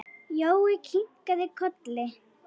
Jói kinkaði kolli.